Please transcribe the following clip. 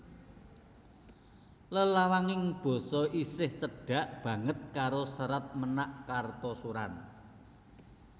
Lelawaning basa isih cedhak banget karo Serat Ménak Kartasuran